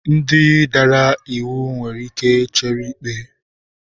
Ndị dara iwu nwere ike chere ikpe.